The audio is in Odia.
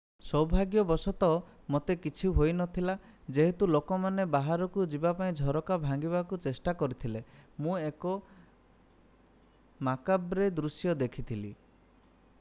ସୌଭାଗ୍ୟବଶତଃ ମୋତେ କିଛି ହୋଇ ନଥିଲା ଯେହେତୁ ଲୋକମାନେ ବାହାରକୁ ଯିବା ପାଇଁ ଝରକା ଭାଙ୍ଗିବାକୁ ଚେଷ୍ଟା କରିଥିଲେ ମୁଁ ଏକ ମାକାବ୍ରେ ଦୃଶ୍ୟ ଦେଖିଥିଲି